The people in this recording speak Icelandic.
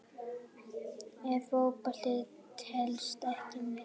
Ef Fótbolti telst ekki með?